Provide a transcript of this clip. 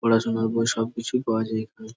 পড়াশুনোর বই সবকিছুই পাওয়া যায় এইখানে।